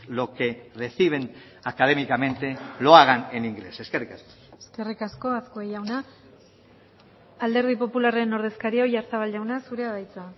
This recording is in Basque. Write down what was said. lo que reciben académicamente lo hagan en inglés eskerrik asko eskerrik asko azkue jauna alderdi popularraren ordezkaria oyarzabal jauna zurea da hitza